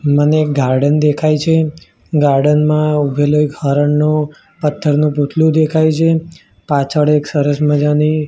મને ગાર્ડન દેખાઈ છે ગાર્ડન મા ઊભેલો એક હરણનું પત્થરનુ પુતલુ દેખાઈ છે પાછળ એક સરસ મજાની--